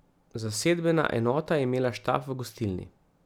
Zasedbena enota je imela štab v gostilni.